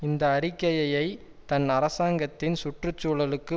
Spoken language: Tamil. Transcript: இந்த அறிக்கையையை தன் அரசாங்கத்தின் சுற்று சூழலுக்கு